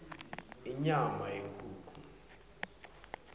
inyama yenkhukhu